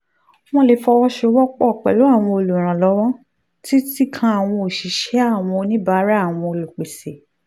wọ́n lè fọwọ́ sowọ́ pọ̀ pẹ̀lú àwọn olùrànlọ́wọ́ títí kan àwọn òṣìṣẹ́ àwọn oníbàárà àwọn olùpèsè